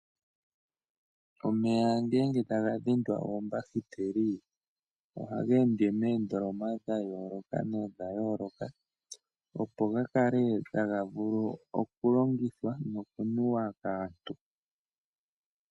Omeya ngele taga dhindwa oombahiteli, ohaga ende moondoloma dha yooloka nodha yooloka. Opo ga kale taga vulu okulongithwa noku nuwa kaantu.